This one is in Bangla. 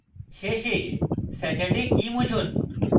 শেষে saturday key মুছুন